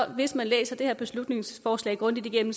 hvis man læser det her beslutningsforslag grundigt igennem